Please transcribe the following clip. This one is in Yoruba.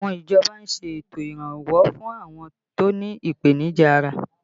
Àwọn ìjọba ń ṣètò iranwọ fún àwọn tó ní ipenija ara